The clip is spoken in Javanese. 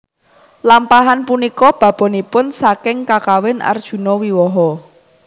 Lampahan punika babonipun saking Kakawin Arjunawiwaha